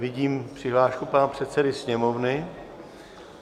Vidím přihlášku pana předsedy Sněmovny.